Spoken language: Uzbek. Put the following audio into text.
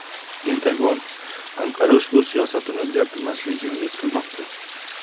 Pentagon Anqara ushbu siyosatini o‘zgartirmasligiga umid qilmoqda.